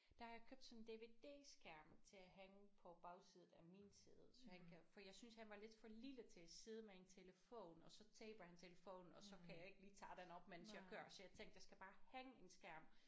Der har jeg købt sådan en DVD-skærm til at hænge på bagsiden af mit sæde så han kan for jeg synes han var lidt for lille til at side med en telefon og så taber han telefonen og så kan jeg ikke lige tage den op mens jeg kører så jeg tænkte der skal bare hænge en skærm